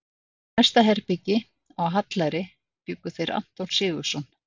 Í næsta herbergi, á Hallæri, bjuggu þeir Anton Sigurðsson